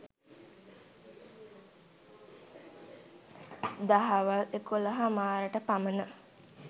දහවල් එකොලහ හමාරට පමණ